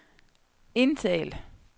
indtal